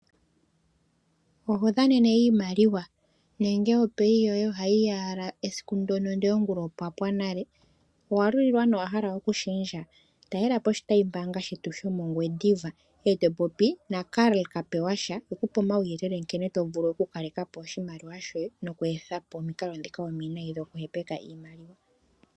Oho dhanene iimaliwa nenge ondjambi yoye yokomwedhi ohayi ya owala esiku ndyoka, ndele ngula opwa pwa nale? Owa lulilwa nowa hala okushendja? Talela po oshitayimbaanga shetu shomOngwediva, e to popi naKarl Kapewasha e ku pe omauyelele nkene to vulu okukaleka po oshimaliwa shoye noku etha po omikalo ndhoka omiwinayi dhokuhepeka iimaliwa.